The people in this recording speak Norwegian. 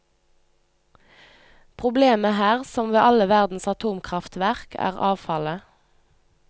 Problemet her, som ved alle verdens atomkraftverk, er avfallet.